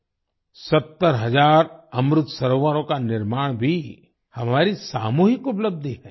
70 हज़ार अमृत सरोवरों का निर्माण भी हमारी सामूहिक उपलब्धि है